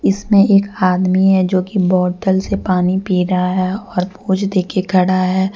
इसमें एक आदमी है जोकि बॉटल से पानी पी रहा है और पोज देके खड़ा है।